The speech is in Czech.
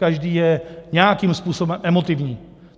Každý je nějakým způsobem emotivní.